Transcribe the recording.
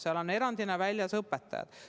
Sealt on erandina väljas ka õpetajad.